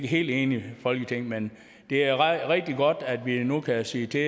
helt enigt folketing men det er rigtig godt at vi nu kan sige til